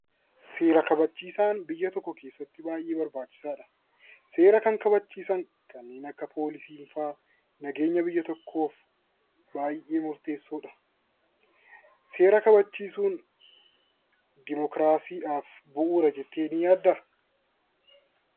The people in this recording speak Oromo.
Seera kabachiisaan biyya tokko keessatti baay'ee barbaachisaadha. Seera kan kabachiisan kanneen akka poolisii nageenya biyya tokkoo baay'ee murteessoo seera kabachiisuun dimokiraasiidhaaf bu'uura jettee ni yaaddaa?